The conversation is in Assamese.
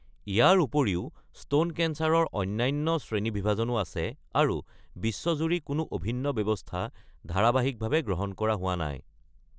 ইয়াৰ উপৰিও স্তন কেন্সাৰৰ অন্যান্য শ্ৰেণীবিভাজনো আছে আৰু বিশ্বজুৰি কোনো অভিন্ন ব্যৱস্থা ধাৰাবাহিকভাৱে গ্ৰহণ কৰা হোৱা নাই।